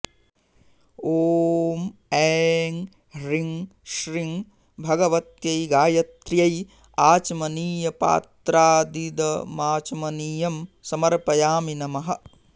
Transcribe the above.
ॐ ऐ ह्रीं श्रीं भगवत्यै गायत्र्यै आचमनीयपात्रादिदमाचमनीयं समर्पयामि नमः